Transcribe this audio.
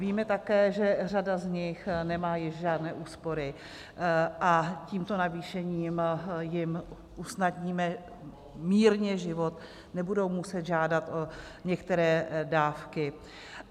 Víme také, že řada z nich nemá již žádné úspory a tímto navýšením jim usnadníme mírně život, nebudou muset žádat o některé dávky.